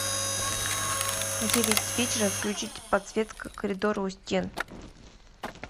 в девять вечера включить подсветка коридора у стен